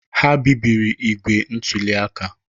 Ha bibiri igbe ntụli aka.